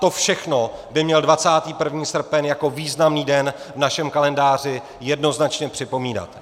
To všechno by měl 21. srpen jako významný den v našem kalendáři jednoznačně připomínat.